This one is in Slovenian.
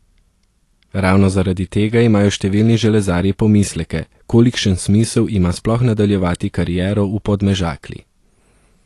Ravno zaradi tega imajo številni železarji pomisleke, kolikšen smisel ima sploh nadaljevati kariero v Podmežakli.